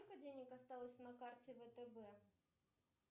перезапустить